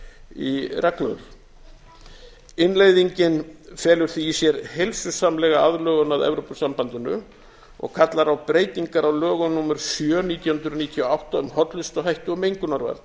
í reglur innleiðingin felur því í sér heilsusamlega aðlögun að evrópusambandinu og kallar á breytingar á lögum númer sjö nítján hundruð níutíu og átta um hollustuhætti og mengunarvarnir